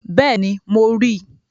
Bẹ́ẹ̀ni, mo ríi